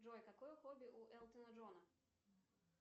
джой какое хобби у элтона джона